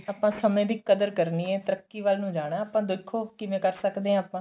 ਆਪਾਂ ਸਮੇਂ ਦੀ ਕਦਰ ਕਰਨੀ ਏ ਤਰੱਕੀ ਵੱਲ ਨੂੰ ਜਾਣਾ ਆਪਾਂ ਦੇਖੋ ਕਿਵੇ ਕ਼ਰ ਸਕਦੇ ਆ ਆਪਾਂ